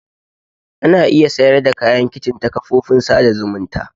Ana iya sayar da kayan kicin ta kafofin sada zumunta.